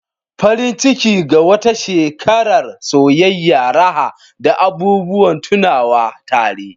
Farin Ciki! Ga wata shekarar soyayya, raha, da abubuwan tunawa tare.